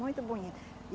Muito bonito.